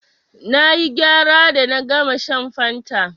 Na yi gyara da na gama shan fanta.